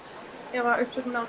ef uppsögnin á